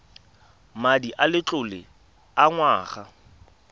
madi a letlole a ngwana